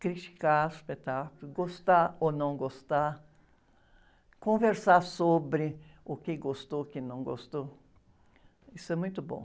Criticar espetáculo, gostar ou não gostar, conversar sobre o que gostou, o que não gostou, isso é muito bom.